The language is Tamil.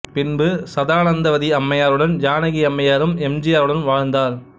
பின்பு சதானந்தவதி அம்மையாருடன் ஜானகி அம்மையாரும் எம் ஜி ஆருடன் வாழ்ந்தார்